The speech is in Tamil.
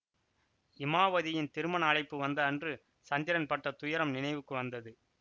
இமாவதியின் திருமண அழைப்பு வந்த அன்று சந்திரன் பட்ட துயரம் நினைவுக்கு வந்தது